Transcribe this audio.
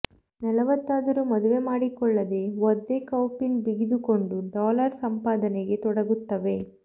ನಲವತ್ತಾದರೂ ಮದುವೆ ಮಾಡಿಕೊಳ್ಳದೆ ಒದ್ದೆ ಕೌಪೀನ ಬಿಗಿದುಕೊಂಡು ಡಾಲರ್ ಸಂಪಾದನೆಗೆ ತೊಡಗುತ್ತವೆ